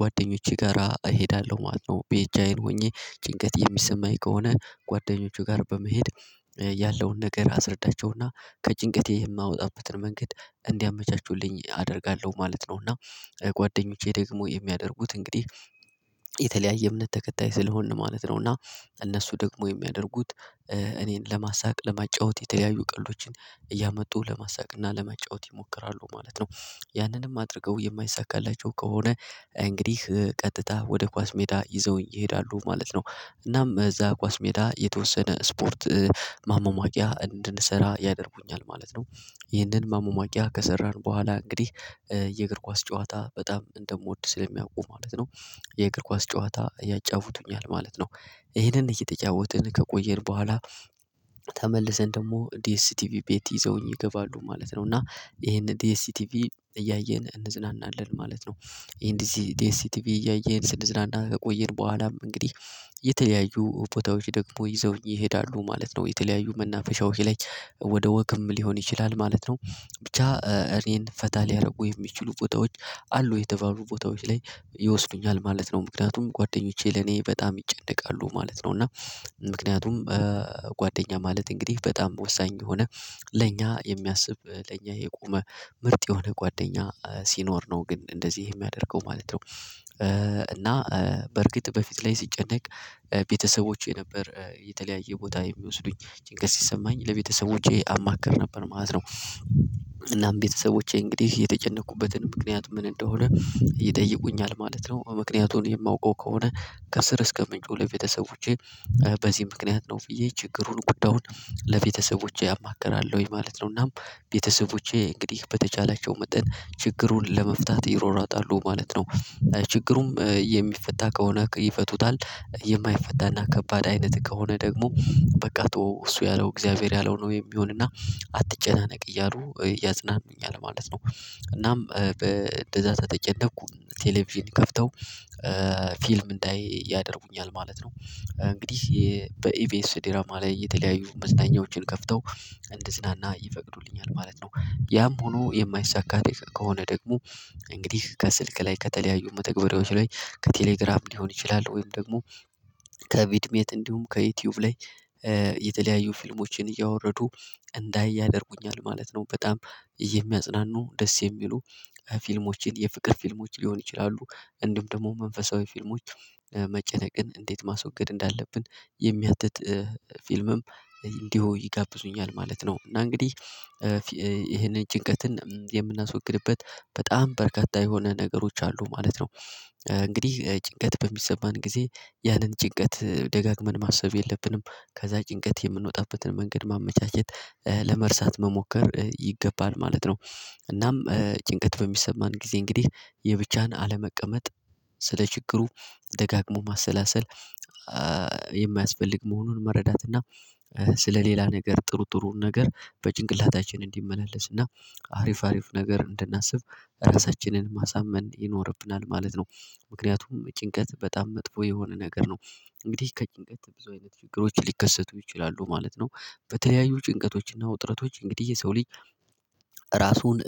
ጓደኞቼ ጋራ እሄዳለሁ ማለት ነው ብቻዬን ሆኜ ጭንቀት የሚሰማኝ ከሆነ ጓደኞቼ ጋር በመሄድ ያለውን ነገር አስረዳቸውና ከጭንቀቴ የማወጣበትን መንገድ እንዲያመቻቹልኝ አደርጋለሁ ማለት ነው። እና ጓደኞቼ ደግሞ የሚያደርጉት እንግዲህ የተለያየ እምነት ተከታይ ስለሆንን ማለት ነው እና እነሱ ደግሞ የሚያደርጉት እኔን ለማሳቅ ለማጫወት የተለያዩ ቀልዶችን እያመጡ ለማሳየት እና ለመጫወት ይሞክራሉ ማለት ነው። ያንንም አድርገው የማይሳካላቸው ከሆነ እንግዲህ ቀጥታ ወደ ኳስ ሜዳ ይዘውኝ ይሄዳሉ ማለት ነው። እናም እዛ ኳስ ሜዳ የተወሰነ ስፖርት ማማሟቂያ እንድንሰራ ያደርጉኛል ማለት ነው። ይህንን ማማሟቂያ ከሰራን በኋላ እንግዲህ የእግር ኳስ ጨዋታ በጣም እንደምወድ ስለሚያውቁ ማለት ነው። የእግር ኳስ ጨዋታ ያጫውቱኛል ማለት ነው። ይሄንን እየተጫወትን ከቆየን በኋላ ተመልሰን ደግሞ ዲኤስቲቪ ቤት ይዘውኝ ይገባሉ ማለት ነው እና ይሄንን ዲኤስቲቪ እያየን እንዝናናለን ማለት ነው። ይሄን እዚህ ዲኤስቲቪ እያየን ስንዝናና ከቆየን በኋላም እንግዲህ የተለያዩ ቦታዎች ደግሞ ይዘውኝ ይሄዳሉ ማለት ነው የተለያዩ መናፈሻዎች ላይ ወደ ወክም ሊሆን ይችላል ማለት ነው። ብቻ እኔን ፈታ ሊያደርጉ የሚችሉ ቦታዎች አሉ የተባሉ ቦታዎች ላይ ይወስዱኛል ማለት ነው። ምክንያቱም ጓደኞቼ ለኔ በጣም ይጨነቃሉ ማለት ነው እና ምክንያቱም ጓደኛ ማለት እንግዲህ በጣም ወሳኝ የሆነ ለኛ የሚያስብ ለኛ የቆመ ምርጥ የሆነ ጓደኛ ሲኖር ነው ግን እንደዚህ የሚያደርገው ማለት ነው። እና በርግጥ በፊት ላይ ሲጨነቅ ቤተሰቦቼ ነበር የተለያየ ቦታ የሚወስዱኝ ጭንቀት ሲሰማኝ ለቤተሰቦቼ አማክር ነበር ማለት ነው። እናም ቤተሰቦቼ እንግዲህ የተጨነኩበትን ምክንያት ምን እንደሆነ ይጠይቁኛል ማለት ነው። ምክንያቱን የማውቀው ከሆነ ከስር እስከ ለቤተሰቦቼ በዚህ ምክንያት ነው ብዬ ችግሩን ጉዳዩን ለቤተሰቦቼ አማክራለሁኝ ማለት ነው። እናም ቤተሰቦቼ እንግዲህ በተቻላቸው መጠን ችግሩን ለመፍታት ይሯሯጣሉ ማለት ነው። ችግሩም የሚፈታ ከሆነ ይፈቱታል የማይፈታና ከባድ አይነት ከሆነ ደግሞ በቃ እሱ ያለው እግዚአብሔር ያለው ነው የሚሆንና አትጨናነቅ እያሉ እፅናንኑኛል ማለት ነው። እናም እንደዛ ከተጨነኩ ቴሌቪዥን ከፍተው ፊልም እንዳይ ያደርጉኛል ማለት ነው። እንግዲህ በኢቪኤስ ዲራማ ላይ የተለያዩ መዝናኛዎችን ከፍተው እንድዝናና ይፈቅዱልኛል ማለት ነው። ያም ሆኖ የማይሳካ ከሆነ ደግሞ እንግዲህ ከስልክ ላይ ከተለያዩ መተግበሪያዎች ላይ ከቴሌግራም ሊሆን ይችላል ወይም ደግሞ ከቪድሜት እንዲሁም ከዩቲዩብ ላይ የተለያዩ ፊልሞችን እያወረዱ እንዳይ ያደርጉኛል ማለት ነው። በጣም የሚያጽናኑ ደስ የሚሉ ፊልሞችን የፍቅር ፊልሞች ሊሆን ይችላሉ። እንደውም ደግሞ መንፈሳዊ ፊልሞች መጨነቅን እንዴት ማስወገድ እንዳለብን የሚያትት ፊልምም እንዲሁ ይጋብዙኛል ማለት ነው። እና እንግዲህ ይሄንን ጭንቀትን የምናስወግድበት በጣም በርካታ የሆነ ነገሮች አሉ ማለት ነው። እንግዲህ ጭንቀት በሚሰማን ጊዜ ያንን ጭንቀት ደጋግመን ማሰብ የለብንም ከዛ ጭንቀት የምንወጣበትን መንገድ ማመቻቸት ለመርሳት መሞከር ይገባል ማለት ነው። እናም ጭንቀት በሚሰማን ጊዜ እንግዲህ የብቻህን አለመቀመጥ ስለ ችግሩ ደጋግሞ ማሰላሰል የማያስፈልግ መሆኑን መረዳት እና ስለሌላ ነገር ጥሩ ጥሩ ነገር በጭንቅላታችን እንዲመላለስ እና አሪፍ አሪፍ ነገር እንድናስብ ራሳችንን ማሳመን ይኖርብናል ማለት ነው። ምክንያቱም ጭንቀት በጣም መጥፎ የሆነ ነገር ነው። እንግዲህ ከጭንቀት ብዙ አይነት ችግሮች ሊከሰቱ ይችላሉ ማለት ነው። በተለያዩ ጭንቀቶችና ውጥረቶች እንግዲህ የሰው ልጅ ራሱን